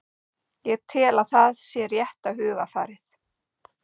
Ég tel að það sé rétta hugarfarið,